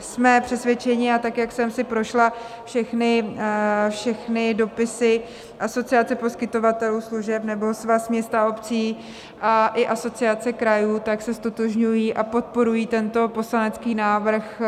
Jsme přesvědčeni, a tak jak jsem si prošla všechny dopisy Asociace poskytovatelů služeb, nebo Svaz měst a obcí a i Asociace krajů, tak se ztotožňují a podporují tento poslanecký návrh